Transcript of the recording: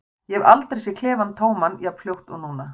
Ég hef aldrei séð klefann tóman jafn fljótt og núna.